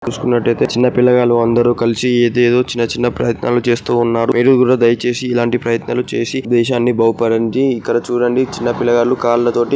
చూసుకున్నట్టుగా అయితే చిన్నపిల్ల గాళ్లు అందరూ కలిసి ఇది ఏది చిన్న చిన్న ప్రయత్నాలు చేస్తున్నారు. మీరు కూడా దయచేసి ఇలాంటి ప్రయత్నాలు చేసి దేశాన్ని బాగుపడడానికి ఇక్కడ చుడండి --